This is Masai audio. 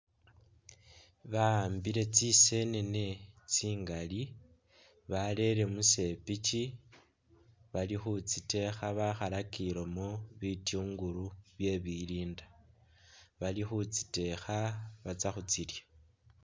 Bahambile tsisenene tsingali barele musepikyi balikhutsitekha bakhalakilemo bityungulu bye bilinda bali khutsitekha batsa khutsilya